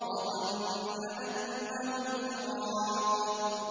وَظَنَّ أَنَّهُ الْفِرَاقُ